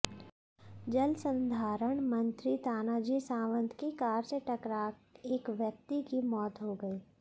जलसंधारण मंत्री तानाजी सावंत की कार से टकरा एक व्यक्ति की मौत हो गई